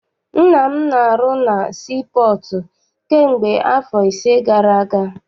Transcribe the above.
Nna m na- arụ na sii pọọtụ kamgbe afọ ise gara aga.